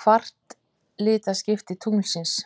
kvartilaskipti tunglsins.